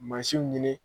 Mansinw ɲini